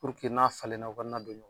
n'a falenna u ka na don ɲɔgɔnna.